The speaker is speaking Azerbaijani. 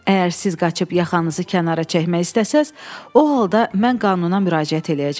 Əgər siz qaçıb yaxanızı kənara çəkmək istəsəniz, o halda mən qanuna müraciət eləyəcəm.